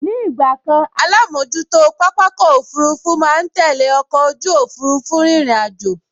Ní ìgbàkan alámojútó pápákọ̀ òfurufú máa n tẹ́lẹ̀ ọkọ̀ ojú òfurufú rírìn àjò